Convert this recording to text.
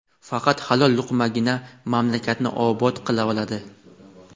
faqat halol luqmagina mamlakatni obod qila oladi.